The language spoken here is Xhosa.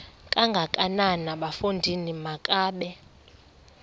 kangakanana bafondini makabe